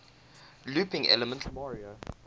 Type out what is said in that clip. looping elements mario